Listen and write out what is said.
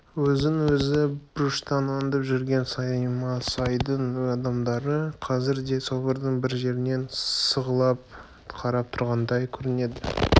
өзін әр бұрыштан аңдып жүрген саймасайдың адамдары қазір де собордың бір жерінен сығалап қарап тұрғандай көрінеді